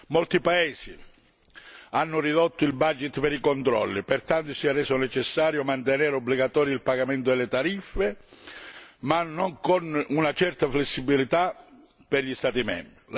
Molti paesi hanno ridotto il budget per i controlli e pertanto si è reso necessario mantenere obbligatorio il pagamento delle tariffe, ma con una certa flessibilità per gli Stati membri.